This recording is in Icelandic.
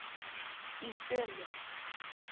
Í sömu